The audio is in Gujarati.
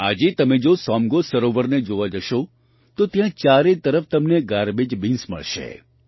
આજે તમે જો સોમગો સરોવરને જોવા જશો તો ત્યાં ચારે તરફ તમને ગાર્બેજ બિન્સ મળશે